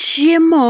Chiemo